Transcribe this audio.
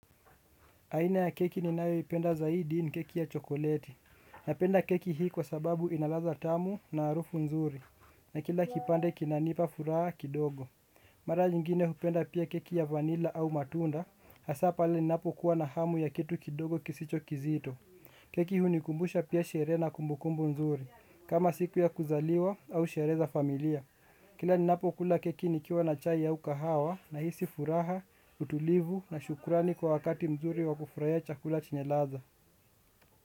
Aina ya keki ninayo ipenda zaidi ni keki ya chokoleti. Napenda keki hii kwa sababu inaladha tamu na arufu nzuri. Na kila kipande kinanipa furaha kidogo. Mara nyingine hupenda pia keki ya vanila au matunda. Hasa pale ninapo kuwa na hamu ya kitu kidogo kisicho kizito. Keki hunikumbusha pia sheree na kumbukumbu nzuri. Kama siku ya kuzaliwa au sheree za familia. Kila ni napo kula keki nikiwa na chai au kahawa nahisi furaha, utulivu na shukurani kwa wakati mzuri wa kufuraia chakula chenye ladha.